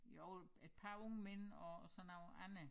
Jo et par unge mænd og så noget andet